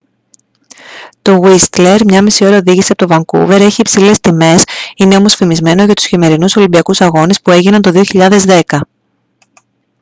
το γουίστλερ 1.5 ώρα οδήγηση από το βανκούβερ έχει υψηλές τιμές είναι όμως φημισμένο για τους χειμερινούς ολυμπιακούς αγώνες που έγιναν το 2010